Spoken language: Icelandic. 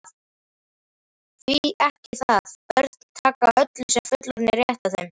Því ekki það, börn taka öllu sem fullorðnir rétta þeim.